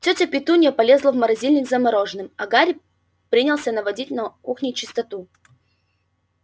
тётя петунья полезла в морозильник за мороженым а гарри принялся наводить на кухне чистоту